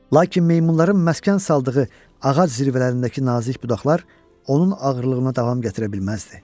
Lakin meymunların məskən saldığı ağac zirvələrindəki nazik budaqlar onun ağırlığına davam gətirə bilməzdi.